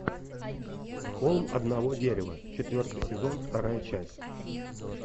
холм одного дерева четвертый сезон вторая часть